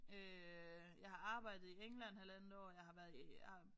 Øh jeg har arbejdet i England halvandet år jeg har været i